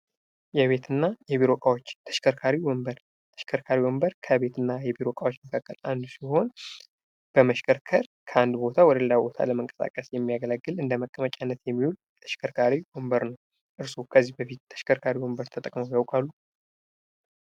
የቤት እና የቢሮ እቃዎች ተሽከርካሪ ወንበር፤ ተሽከርካሪ ወንበር ከቤት እና የቢሮ እቃዎች መካከል አንዱ ሲሆን በመሽከርከር ከአንድ ቦታ ወደ ሌላ ቦታ ለመንቀሳቀስ የሚያገለግል እንደ መቀመጫነት የሚዉል ተሽከርካሪ ወንበር ነው። እርሶ ከዚህ በፊት ተሽከርካሪ ወንበር ተጠቅመው ያውቃሉ?